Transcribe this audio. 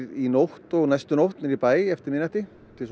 í nótt og næstu nótt niðrí bæ eftir miðnætti